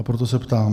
A proto se ptám: